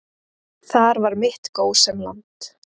Þar var mitt gósenland.